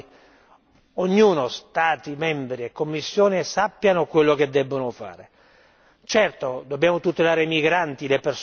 Una lista di priorità per agende chiare nelle quali ognuno, Stati membri e Commissione, sappiano quello che debbono fare.